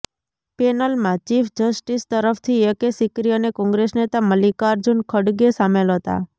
પેનલમાં chief justice તરફથી A K Sikri અને કોંગ્રેસ નેતા મલ્લિકાર્જુન ખડગે શામેલ હતા